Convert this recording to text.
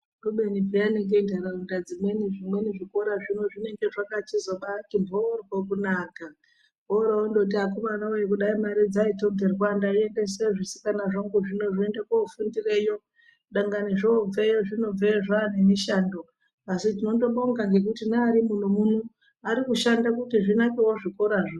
Kubeni peyani ngentaraunda dzimweni zvimweni zvikora zvino zvinenge zvakabati mhoryo kunaka, oro vondoti akomana voye kudai mari dzaitongerwa ndaiendese zvisikana zvangu zvino zviende kofundireyo. Dangani zvobveyo zvinobveyo zvane mishando. Asi tinondobonga ngekuti neari muno-muno ari kushanda kuti zvinakevo zvikorazvo.